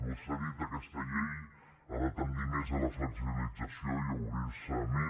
vostè ha dit que aquesta llei ha de tendir més a la flexibilització i a obrir se més